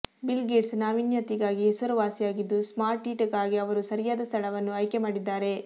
bill Gates ನಾವೀನ್ಯತೆಗಾಗಿ ಹೆಸರುವಾಸಿಯಾಗಿದ್ದು ಸ್ಮಾರ್ಟ್ಸಿಟಿಗಾಗಿ ಅವರು ಸರಿಯಾದ ಸ್ಥಳವನ್ನು ಆಯ್ಕೆ ಮಾಡಿದ್ದಾರೆ